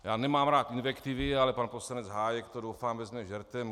Já nemám rád invektivy, ale pan poslanec Hájek to, doufám, vezme žertem.